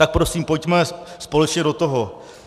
Tak prosím, pojďme společně do toho.